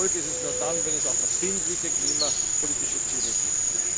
Und ein Erfolg wird es nur dann, wenn es verbindliche klimapolitische Ziele gibt.